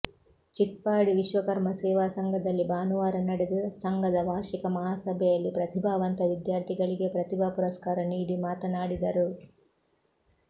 ಚಿಟ್ಟಾಡಿ ವಿಶ್ವಕರ್ಮ ಸೇವಾ ಸಂಘದಲ್ಲಿ ಭಾನುವಾರ ನಡೆದ ಸಂಘದ ವಾರ್ಷಿಕ ಮಹಾಸಭೆಯಲ್ಲಿ ಪ್ರತಿಭಾವಂತ ವಿದ್ಯಾರ್ಥಿಗಳಿಗೆ ಪ್ರತಿಭಾ ಪುರಸ್ಕಾರ ನೀಡಿ ಮಾತನಾಡಿದರು